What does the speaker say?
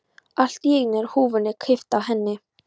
Allt í einu er húfunni kippt af henni!